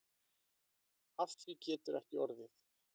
Af því getur ekki orðið.